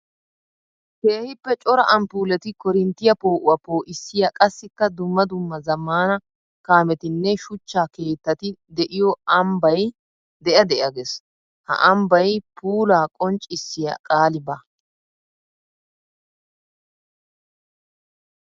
Keehippe cora amppuletti koorinttiya poo'uwaa poo'issiya qassikka dumma dumma zamaana kaamettinne shuchcha keettati de'iyo ambbay de'a de'a gees. Ha ambbay puula qonccissiya qaali baawa.